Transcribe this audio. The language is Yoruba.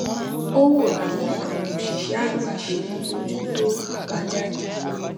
ó wo bí àwọn òṣìṣẹ àgbà ṣe ń bójú tó àbájáde